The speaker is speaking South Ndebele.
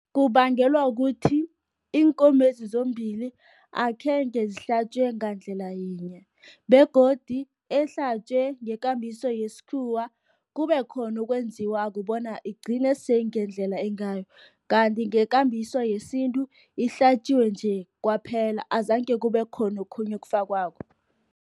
Kubangelwa ukuthi iinkomezi zombili akhenge zihlatjwe ngandlela yinye, begodu ehlatjwe ngekambiso yesikhuwa, kube khona okwenziwako bona igcine seyingendlela engayo. Kanti ngekambiso yesintu ihlatjiwe nje, kwaphela azange kubekhona okhunye okufakwako.